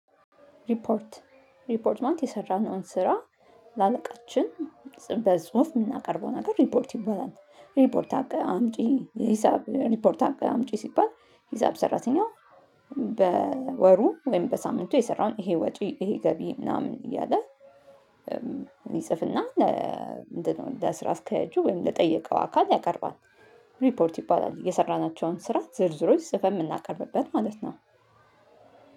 ሪፖርት ሪፖርትመንት የሰራነውን ስራ ለአለቃችን በጽሁፍ የምናቀርበው ነገር ሪፖርት ይባላል። ሪፖርት አቅርብ አምጪ ሂሳብ ሪፖርት አቅርብ አምጪ ሲባል ሂሳብ ሰራተኛው በወሩ ወይም በሳምንቱ የሰራውን ይሄ ወጪ ይሄ ገቢ ምናምን እያለ ይጽፍና ለስራ አስከያጁ ወይም ለጠየቀው አካል ያቀርባል። ሪፖርት ይባላል የሰራናቸውን ስራ ዝርዝሮች ጽፈን የምናቀርብበት ማለት ነው።